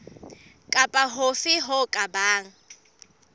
kapa hofe ho ka bang